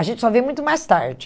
A gente só vê muito mais tarde.